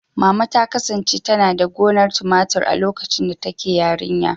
Mama ta kasance tana da gonar tumatur a lokacin da take yarinya.